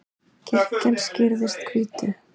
kirkjan skrýðist hvítu